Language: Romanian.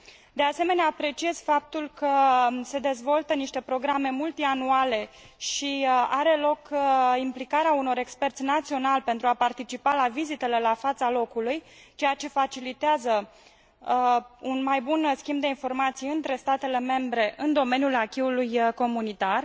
de asemenea, apreciez faptul că se dezvoltă niște programe multianuale și are loc implicarea unor experți naționali, pentru a participa la vizitele la fața locului, ceea ce facilitează un mai bun schimb de informații între statele membre în domeniul acquis ului comunitar.